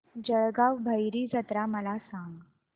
जळगाव भैरी जत्रा मला सांग